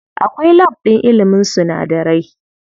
Akwai lab ɗin ilimin sunadarai.